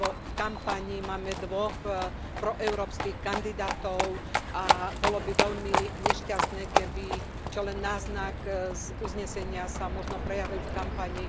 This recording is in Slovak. V kampani máme dvoch proeurópskych kandidátov a bolo by veľmi nešťastné, keby sa čo len náznak z uznesenia prejavil v kampani.